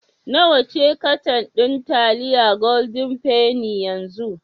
Nawa ce katan ɗin taliyar Golden penny yanzu?